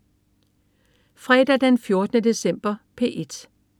Fredag den 14. december - P1: